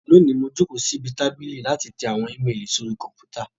Lónìí, mo jókòó síbi tábìlì láti tẹ àwọn íméélì sórí Kọ̀m̀pútà